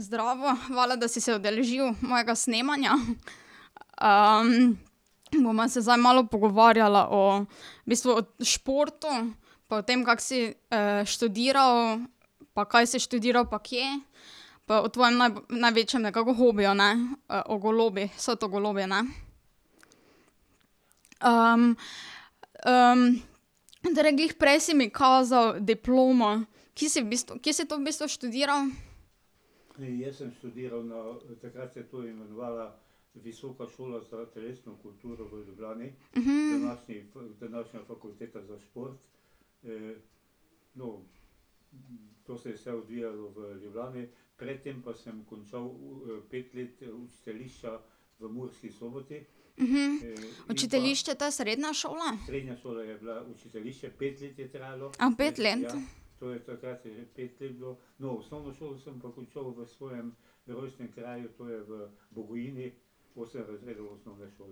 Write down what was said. Zdravo. Hvala, da si se udeležil mojega snemanja. bova se zdaj malo pogovarjala o, v bistvu o športu pa o tem, kako si študiral, pa kaj si študiral pa kje, pa o tvojem največjem nekako hobiju, ne, o golobih, so to golobi, ne? torej glih prej si mi kazal diplomo, ki si v bistvu, kje si to v bistvu študiral? Učiteljišče, to je srednja šola? A pet let?